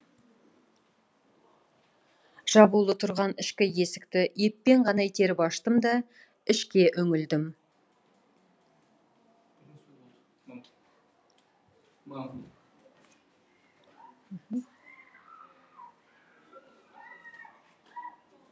жабулы тұрған ішкі есікті еппен ғана итеріп аштым да ішке үңілдім